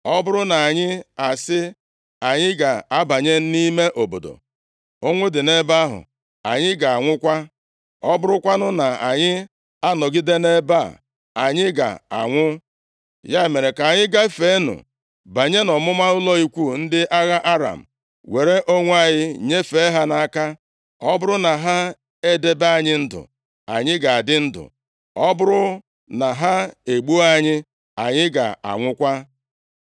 Ọ bụrụ na anyị asị, ‘Anyị ga-abanye nʼime obodo,’ ụnwụ dị nʼebe ahụ, anyị ga-anwụkwa. Ọ bụrụkwanụ na anyị anọgide nʼebe a anyị ga-anwụ. Ya mere ka anyị gafeenụ banye nʼọmụma ụlọ ikwu ndị agha Aram, were onwe anyị nyefee ha nʼaka. Ọ bụrụ na ha edebe anyị ndụ, anyị ga-adị ndụ, ọ bụrụ na ha egbuo anyị, anyị ga-anwụkwa.”